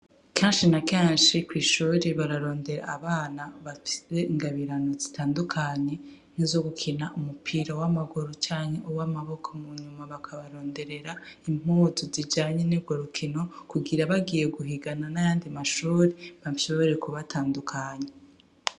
Kenshi na kenshi kw'ishure bararondera abana bafise ingabirano zitandukanye nkizo gukina umupira w'amaguru canke uw'amaboko, munyuma bakabaronderera impuzu zijanye n'urwo rukino kugira bagiye guhigana n'ayandi mashure bashobore kubatandukanya.